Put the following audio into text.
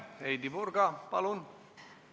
Heidy Purga, palun!